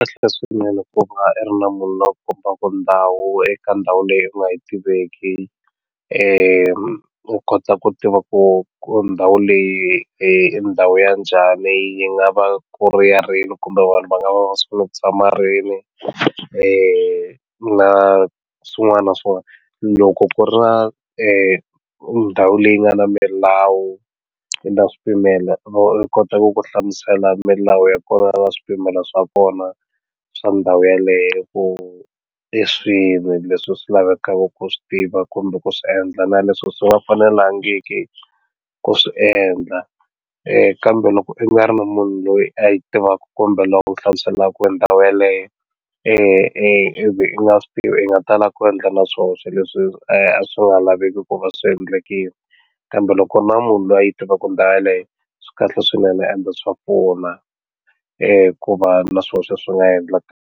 Swi kahle swinene ku va i ri na munhu loyi a ku kombaku ndhawu eka ndhawu leyi u nga yi tiveki u kota ku tiva ku ndhawu leyi i ndhawu ya njhani yi nga va ku ri ya rini kumbe vanhu va nga va ni ku tshama rini na swin'wana na swin'wana loko ku ri na ndhawu leyi nga na milawu yi na swipimelo u kota ku ku hlamusela milawu ya kona na swipimelo swa kona swa ndhawu yeleyo ku i swini leswi swi lavekaka ku swi tiva kumbe ku swi endla na leswi swi nga fanelangiki ku swi endla kambe loko i nga ri na munhu loyi a yi tivaku kumbe loyi a ku hlamuselaka hi ndhawu yaleyo ivi i nga swi tivi i nga tala na ku endla na swihoxo leswi a swi nga laveki ku va swi endlekile kambe loko u ri munhu loyi a yi tivaka ndhawu yeleyo swi kahle swinene ende swa pfuna ku va na swihoxo swi nga .